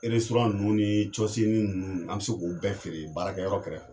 nUnnu ni nUnnu? an be se k'o bɛɛ feere baarakɛ yɔrɔ kɛrɛfɛ.